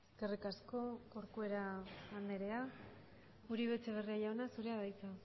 eskerrik asko corcuera andrea uribe etxebarria jauna zurea da hitza